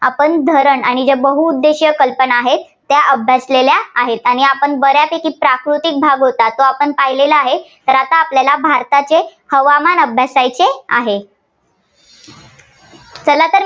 आपण धरण आणि जे बहुउद्देशीय कल्पना आहेत, त्या अभ्यासलेल्या आहेत. ्आणि आपण बऱ्यापैकी प्राकृतिक भाग होता, तो आपण पाहिलेला आहे. तर आता आपल्याला भारताचे हवामान अभ्यासायचे आहे. चला तर